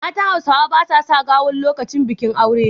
Matan Hausawa ba sa sa gawon lokacin bakin aure.